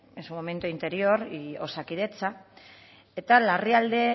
en su momento interior y osakidetza eta larrialdi